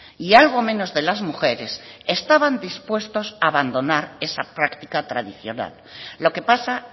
y algo menos de las mujeres estaban dispuestos a abandonar esa práctica tradicional lo que pasa